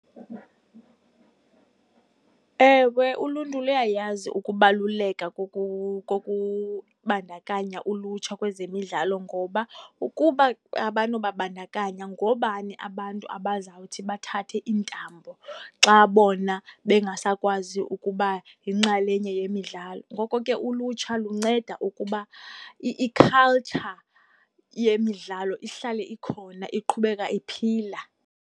Ewe, uluntu luyayazi ukubaluleka kokubandakanya ulutsha kwezemidlalo ngoba ukuba abanokubabandakanya ngoobani abantu abazawuthi bathathe iintambo xa bona bengasakwazi ukuba yinxalenye yemidlalo. Ngoko ke ulutsha lunceda ukuba ikhaltsha yemidlalo ihlale ikhona, iqhubeka iphila.